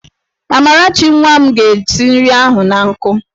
Amarachi nwa m ga-esi nri ahụ an nkụ.